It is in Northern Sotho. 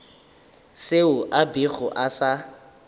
seo a bego a sa